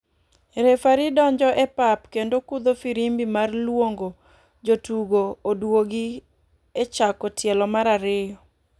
Refari donjo e pap kendo kudho firimbi mar luongo jotugo oduogi e chako tielo mar ariyo.